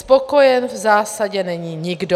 Spokojen v zásadě není nikdo.